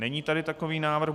Není tady takový návrh.